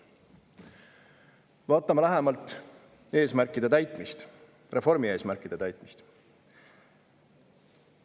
Vaatame lähemalt eesmärkide täitmist – reformi eesmärkide täitmist.